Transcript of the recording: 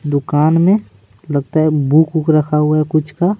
दुकान में लगता है बुक वुक रखा हुआ है कुछ का--